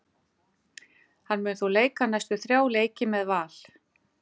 Hann mun þó leika næstu þrjá leiki með Val.